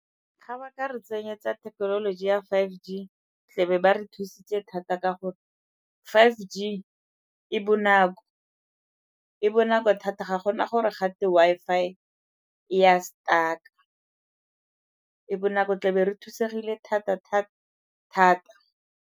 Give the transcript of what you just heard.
Ga ba ka re tsenyetsa thekenoloji ya five G tlebe ba re thusitse thata ka gore five G e bonako, e bonako thata ga gona gore gate Wi-Fi e a stuck-a, e bonako tlebe re thusegile thata-thata-thata.